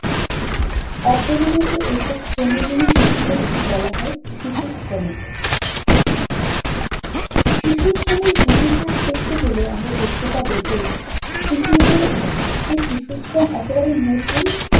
অপরিণত এইসব শ্রমজীবী শিশুদেরই বলা হয় শিশু শ্রমিক। শিশু শ্রমিক ইতিহাস দেখতে গেলে আমরা দেখতে পাবো যে, পৃথিবীতে যে শিশুশ্রম একেবারে নতুন